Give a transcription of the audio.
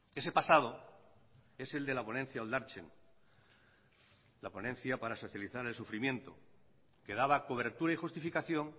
ese pasado es el de la ponencia oldartzen la ponencia para socializar el sufrimiento que daba cobertura y justificación